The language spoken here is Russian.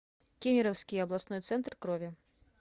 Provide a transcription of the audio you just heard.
кемеровский областной центр крови